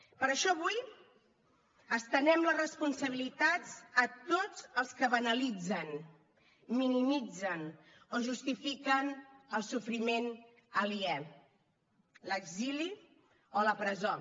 per això avui estenem les responsabilitats a tots els que banalitzen minimitzen o justifiquen el sofriment aliè l’exili o la presó